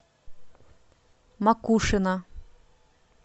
макушино